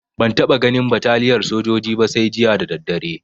Ban taɓa ganin bataliyar sojoji ba sai jiya da daddare